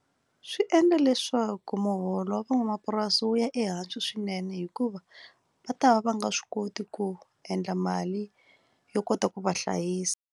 Swi endla leswaku muholo wa van'wamapurasi wu ya ehansi swinene hikuva va ta va va nga swi koti ku endla mali yo kota ku va hlayisa.